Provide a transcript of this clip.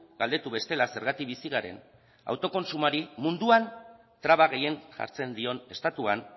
galdetu bestela zergatik bizi garen autokontsumoari munduan traba gehien jartzen dion estatuan